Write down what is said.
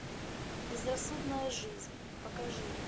безрассудная жизнь покажи